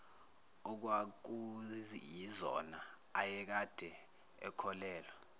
okwakuyizona ayekade ekholelwa